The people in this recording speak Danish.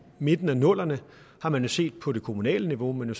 midten af nullerne har man jo set på det kommunale niveau men jo